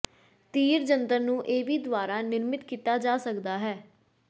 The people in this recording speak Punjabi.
ਤੀਰ ਜੰਤਰ ਨੂੰ ਇਹ ਵੀ ਦੁਆਰਾ ਨਿਰਮਿਤ ਕੀਤਾ ਜਾ ਸਕਦਾ ਹੈ